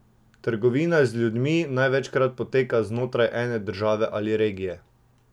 Na naše vprašanje, katera je njegova najljubša skladba z albuma pa odvrnil: "Ne bom izpostavljal nobene pesmi.